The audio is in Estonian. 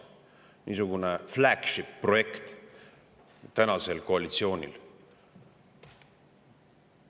Niisugune flagship-projekt on tänasel koalitsioonil plaanis.